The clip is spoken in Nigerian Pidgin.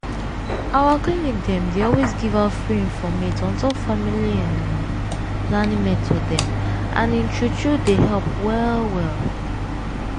our clinic dem dey always give out free informate on top family hmm planning method dem and im true true dey help well well.